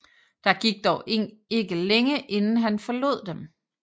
Der gik dog ikke længe inden han forlod dem